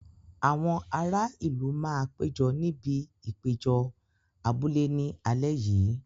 Àwọn ará ìlú máa péjọ níbi ìpéjọ abúlé ní alẹ́ yìí.